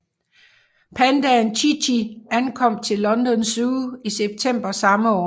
Pandaen Chi Chi ankom til London Zoo i september samme år